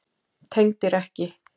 Tengdir ekki.